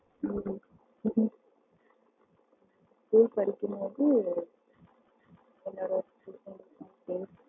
ஹம் BE படிக்கும் போது என்னுடைய